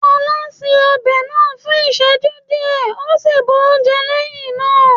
Fola ṣe ọbẹ̀ náà fún ìsẹ́jú díẹ̀ ó sì bu oúnjẹ lẹ́hìn náà.